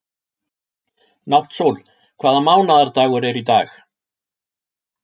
Náttsól, hvaða mánaðardagur er í dag?